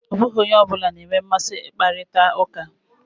Ọ bụghị onye ọ bụla na-enwe mmasị ị kparita ụka.